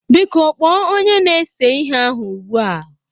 Biko kpoo Onye na-ese ihe ahu ugbua!